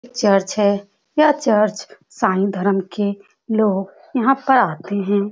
यह चर्च है यह चर्च में ईसाई धर्म के लोग यहाँ पर आते हैं ।